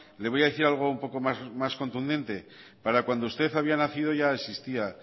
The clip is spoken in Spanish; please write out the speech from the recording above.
le voy a decir algo un poco más contundente para cuando usted había nacido ya existía